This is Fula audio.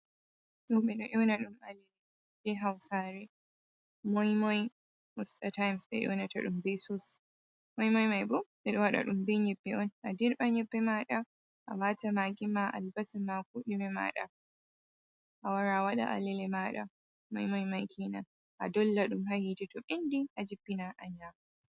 Ɗo ɓe ɗo nyoona ɗum alele be hawsaare, moymoy somtayim. Moymoy ɓe ɗo waɗa ɗum be nyebbe on ,a dirɓan nyebbe maaɗa, a waata magi ma, albasa ma ,ko ɗume maaɗa a wara a waɗa alele maaɗa maymoy may, kenan a dolla ɗum haa yiite ,to ɓenndi a jippina a nyaama.